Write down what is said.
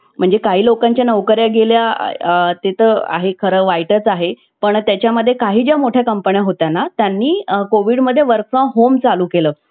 म्हणजे काही लोकांच्या नोकऱ्या गेल्या आहेत. इथं तर खरं वाईटच आहे. पण त्याच्या मध्ये काही ज्या मोठ्या कंपन्या होत्या ना त्यांनी कोविड मध्ये work from home चालू केलं.